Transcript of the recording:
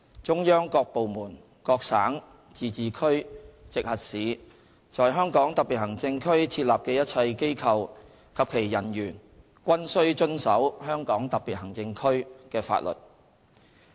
中央各部門、各省、自治區、直轄市在香港特別行政區設立的一切機構及其人員均須遵守香港特別行政區的法律。